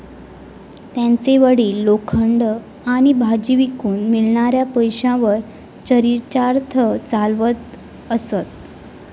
त्यांचे वडील लोखंड आणि भाजी विकून मिळणाऱ्या पैशांवर चरीचार्थ चालवत असत.